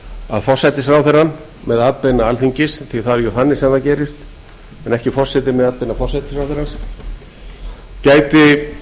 að forsætisráðherrann með atbeina alþingis því það er þannig sem það gerist en ekki forseti með atbeina forsætisráðherra gæti